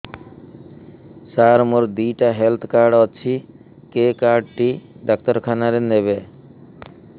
ସାର ମୋର ଦିଇଟା health card ଅଛି କେ କାର୍ଡ ଟି ଡାକ୍ତରଖାନା ରେ ନେବେ